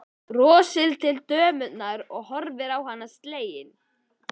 Brosir til dömunnar sem horfir á hann slegin.